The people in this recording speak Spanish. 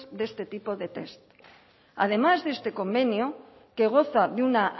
de este tipo de test además de este convenio que goza de una